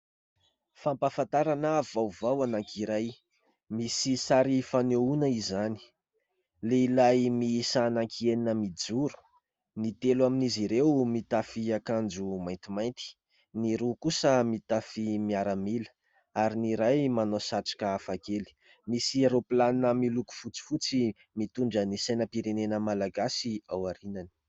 Fampafantarana vaovao anankiray misy sary fanehoana izany. lehilahy miisa anankienina mijoro : ny telo amin'izy ireo mitafy akanjo maintimainty, ny roa kosa mitafy miaramila ary ny iray manao satroka hafa kely. Misy rôplanina miloko fotsifotsy mitondra ny sainam-pirenena malagasy ao arianany.